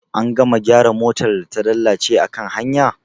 An gama gyara motar da ta lalace akan hanya?